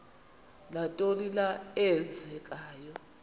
nantoni na eenzekayo